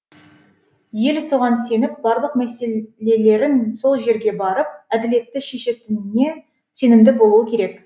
ел соған сеніп барлық мәселелерін сол жерге барып әділетті шешетініне сенімді болуы керек